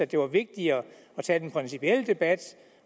det var vigtigere at tage den principielle debat